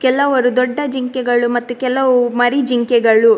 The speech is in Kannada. ಕೆಲವರು ದೊಡ್ಡ ಜಿಂಕೆಗಳು ಮತ್ತು ಕೆಲವು ಮರಿ ಜಿಂಕೆಗಳು.